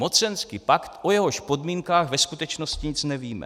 Mocenský pakt, o jehož podmínkách ve skutečnosti nic nevíme.